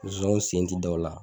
sen ti da o la